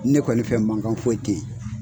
Ne kɔni fɛ mankan foyi tɛ yen.